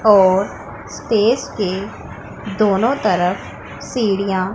और स्टेज के दोनों तरफ सीढ़ियां --